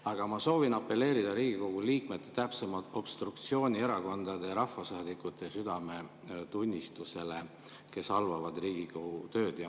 Aga ma soovin apelleerida Riigikogu liikmete, täpsemalt obstruktsioonierakondade ja ‑rahvasaadikute südametunnistusele, kes halvavad Riigikogu tööd.